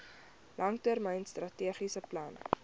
langtermyn strategiese plan